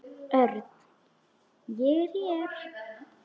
Örn, ég er hér